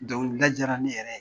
Dɔnkili da jara ne yɛrɛ ye